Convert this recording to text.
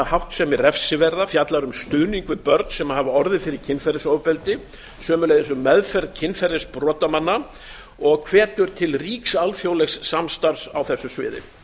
háttsemi refsiverða fjallar um stuðning við börn sem hafa orðið fyrir kynferðisofbeldi sömuleiðis um meðferð kynferðisbrotamanna og hvetur til ríks alþjóðlegs samstarfs á þessu sviði